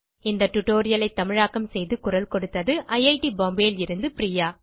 இந்த டியூட்டோரியல் ஐ தமிழாக்கம் செய்து குரல் கொடுத்தது ஐட் Bombayலிருந்து பிரியா